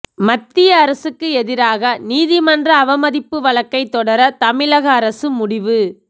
மத்திய அரசுக்கு எதிராக நீதிமன்ற அவமதிப்பு வழக்கை தொடர தமிழக அரசு முடிவு